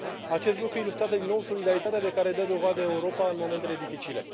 Acest lucru ilustrează din nou solidaritatea de care dă dovadă Europa în momentele dificile.